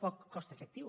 poc cost efectiu